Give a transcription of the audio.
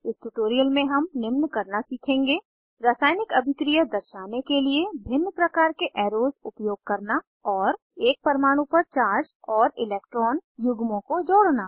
इस ट्यूटोरियल में हम निम्न करना सीखेंगे रासायनिक अभिक्रिया दर्शाने के लिए भिन्न प्रकार के एरोस उपयोग करना और एक परमाणु पर चार्ज और इलेक्ट्रॉन युग्मों को जोड़ना